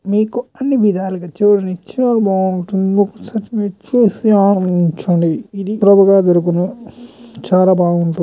మీకు అన్నీ విధాలుగా చూడనికి చాలా బాగుంటుంది . ఒక్కసారి మీరు చూసి ఆనందించండి .ఇది ప్రబుగా దొరుకును చాలా బాగుంటూ--